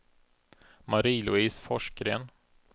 Marie-Louise Forsgren